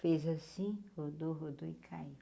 Fez assim, rodou, rodou e caiu.